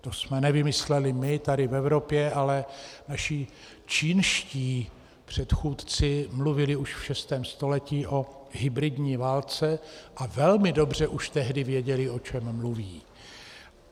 To jsme nevymysleli my tady v Evropě, ale naši čínští předchůdci mluvili už v šestém století o hybridní válce a velmi dobře už tehdy věděli, o čem mluví.